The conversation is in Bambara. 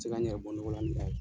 se ka n yɛrɛ bɔ nɔgɔ la ni a ye.